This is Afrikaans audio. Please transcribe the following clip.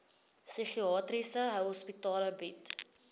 psigiatriese hospitale bied